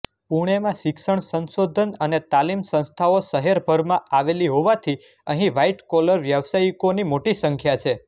પુણેમાં શિક્ષણ સંશોધન અને તાલીમ સંસ્થાઓ શહેરભરમાં આવેલી હોવાથી અહીં વ્હાઇટકોલર વ્યવસાયિકોની મોટી સંખ્યા છે